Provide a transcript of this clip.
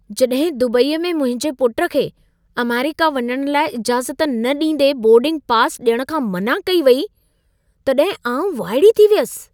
जॾहिं दुबईअ में मुंहिंजे पुट खे अमेरिका वञण लाइ इजाज़त न ॾींदे बोर्डिंग पासि ॾियण खां मना कई वेई, तॾहिं आउं वाइड़ी थी वियसि।